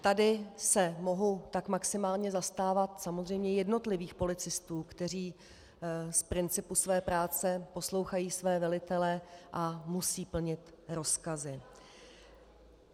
Tady se mohu tak maximálně zastávat samozřejmě jednotlivých policistů, kteří z principu své práce poslouchají své velitele a musí plnit rozkazy.